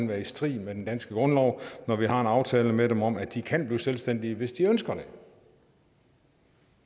være i strid med den danske grundlov når vi har en aftale med dem om at de kan blive selvstændige hvis de ønsker det